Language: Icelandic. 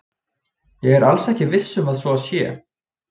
Ég er alls ekki viss um að svo sé.